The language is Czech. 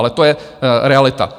Ale to je realita.